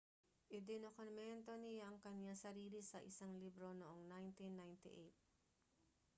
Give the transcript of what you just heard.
idinokumento niya ang kanyang sarili sa isang libro noong 1998